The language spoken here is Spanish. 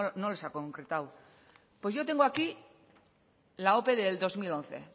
no los ha concretado pues yo tengo aquí la ope del dos mil once